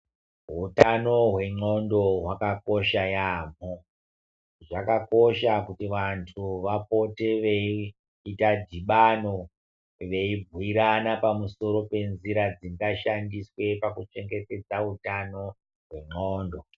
Hutano hwendxondo hwakakosha yaamho. Zvakakosha kuti vantu vapote veiita dhibano, veibhuirana pamusoro penzira dzingashandiswe pakuchengetedza utano hwendxondo.